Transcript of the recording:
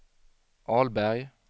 Ahlberg